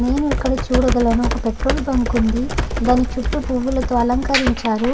నేన్ ఇక్కడ చూడగలను ఒక పెట్రోల్ బుంక్ వుంది. దాని పువుల్లతో అలకరించారు.